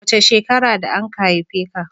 Wace shekara da anka haife ka?